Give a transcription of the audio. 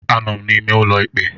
Anọ m n'ime ụlọ ikpe